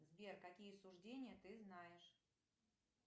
сбер какие суждения ты знаешь